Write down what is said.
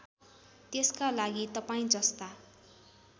त्यसका लागि तपाईँजस्ता